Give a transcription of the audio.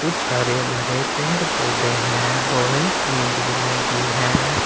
कुछ हरे भरे पेड़ पौधे हैं लोहे की ग्रील लगी है।